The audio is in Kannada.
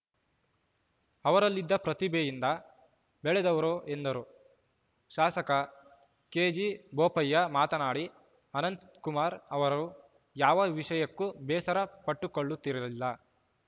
ಅವರಲ್ಲಿದ್ದ ಪ್ರತಿಭೆಯಿಂದ ಬೆಳೆದವರು ಎಂದರು ಶಾಸಕ ಕೆಜಿಬೋಪಯ್ಯ ಮಾತನಾಡಿ ಅನಂತ್‌ಕುಮಾರ್‌ ಅವರು ಯಾವ ವಿಷಯಕ್ಕೂ ಬೇಸರ ಪಟ್ಟುಕೊಳ್ಳುತ್ತಿರಲಿಲ್ಲ